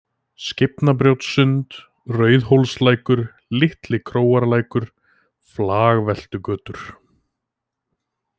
Skeifnabrjótssund, Rauðhólslækur, Litli-Króarlækur, Flagveltugötur